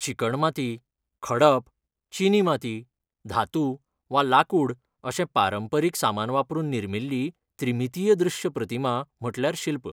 चिकण माती, खडप, चिनी माती, धातू वा लाकूड अशें पारंपरीक सामान वापरून निर्मिल्ली त्रिमितीय दृश्य प्रतिमा म्हटल्यार शिल्प.